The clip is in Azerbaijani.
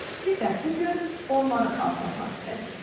Biz də bu gün onları xatırlatmaq istədik.